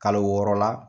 Kalo wɔɔrɔ la